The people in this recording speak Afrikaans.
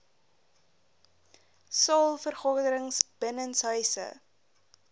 saal vergaderings binnenshuise